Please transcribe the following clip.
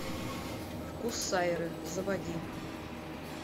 вкус сайры заводи